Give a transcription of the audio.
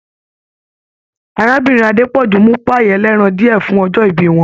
Arábìnrin Adepoju mu pai ẹ̀lẹ́ran diẹ fun ọjọ ìbí wọn.